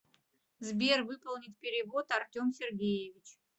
сбер выполнить перевод артем сергеевич